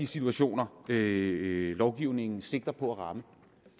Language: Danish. situationer lovgivningen sigter på at ramme